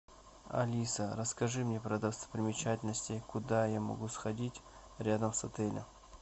алиса расскажи мне про достопримечательности куда я могу сходить рядом с отелем